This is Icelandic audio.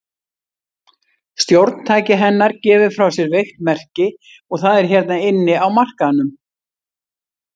Stjórntæki hennar gefur frá sér veikt merki, og það er hérna inni á markaðnum.